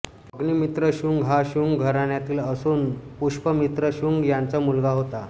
अग्निमित्र शुंग हा शुंग घराण्यातील असून पुष्यमित्र शुंग याचा मुलगा होता